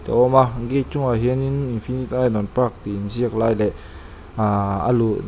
awm a gate chungah hian in infinite ainawn park tih in ziak lai leh ahhh a luh dawn--